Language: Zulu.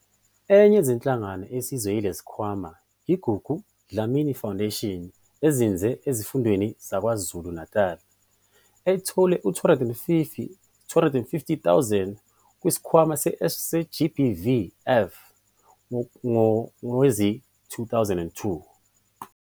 Enye yezinhlangano esizwa yilesi sikhwama i-Gugu Dlamini Foundation ezinze esifundazweni saKwaZulu-Natali, ethole izi-R250 000 kwiSikhwama se-GBVF ngowezi-2022.